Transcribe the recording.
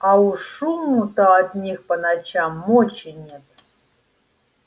а уж шуму-то от них по ночам мочи нет